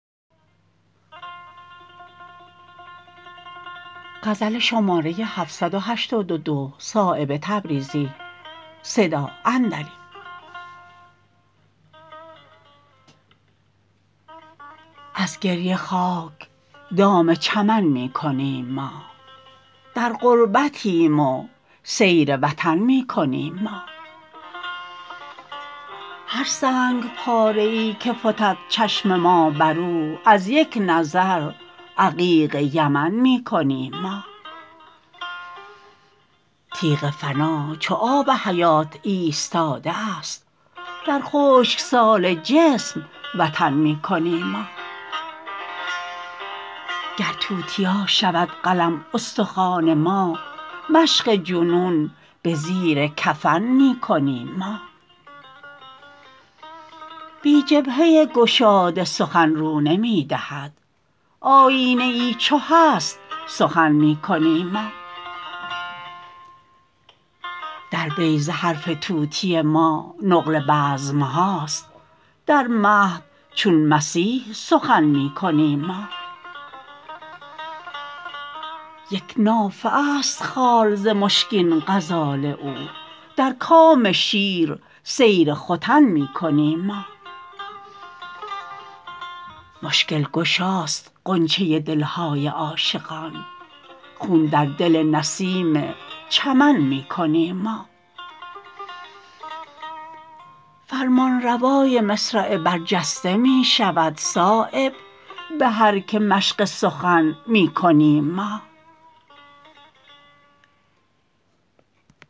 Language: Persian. از گریه خاک دام چمن می کنیم ما در غربتیم و سیر وطن می کنیم ما هر سنگ پاره ای که فتد چشم ما بر او از یک نظر عقیق یمن می کنیم ما تیغ فنا چو آب حیات ایستاده است در خشکسال جسم وطن می کنیم ما گر توتیا شود قلم استخوان ما مشق جنون به زیر کفن می کنیم ما بی جبهه گشاده سخن رو نمی دهد آیینه ای چو هست سخن می کنیم ما در بیضه حرف طوطی ما نقل بزمهاست در مهد چون مسیح سخن می کنیم ما یک نافه است خال ز مشکین غزال او در کام شیر سیر ختن می کنیم ما مشکل گشاست غنچه دلهای عاشقان خون در دل نسیم چمن می کنیم ما فرمانروای مصرع برجسته می شود صایب به هر که مشق سخن می کنیم ما